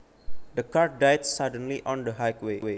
The car died suddenly on the highway